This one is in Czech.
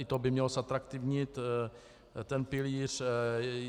I to by mělo zatraktivnit ten pilíř.